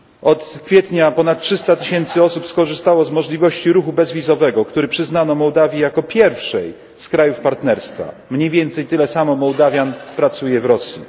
Od kwietnia ponad 300 tysięcy osób skorzystało z możliwości ruchu bezwizowego, który przyznano Mołdawii jako pierwszej z krajów partnerstwa mniej więcej tyle samo Mołdawian pracuje w Rosji.